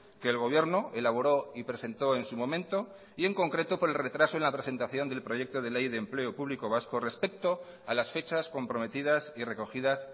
que el gobierno elaboró y presentó en su momento y en concreto por el retraso en la presentación del proyecto de ley de empleo público vasco respecto a las fechas comprometidas y recogidas